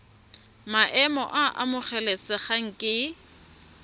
maemo a a amogelesegang ke